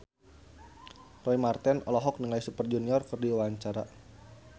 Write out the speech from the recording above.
Roy Marten olohok ningali Super Junior keur diwawancara